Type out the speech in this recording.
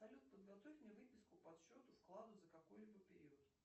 салют подготовь мне выписку по счету вкладу за какой либо период